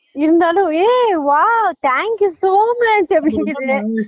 இருந்தாலும் ஏ wow thank you so much அப்படின்குது